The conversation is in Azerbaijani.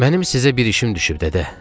Mənim sizə bir işim düşüb, dədə.